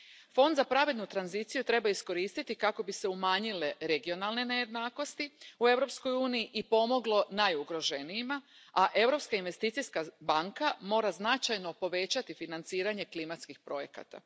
Fond za pravednu tranziciju treba iskoristiti kako bi se umanjile regionalne nejednakosti u Europskoj uniji i pomoglo najugroženijima, a Europska investicijska banka mora značajno povećati financiranje klimatskih projekata.